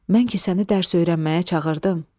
Mən ki səni dərs öyrənməyə çağırdım?